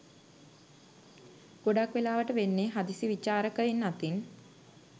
ගොඩක් වෙලාවට වෙන්නේ හදිසි විචාරකයින් අතින්